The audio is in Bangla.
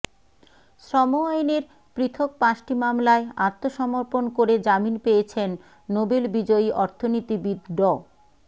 শ্রম আইনের পৃথক পাঁচটি মামলায় আত্মসমর্পণ করে জামিন পেয়েছেন নোবেল বিজয়ী অর্থনীতিবিদ ড